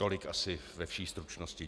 Tolik asi ve vší stručnosti.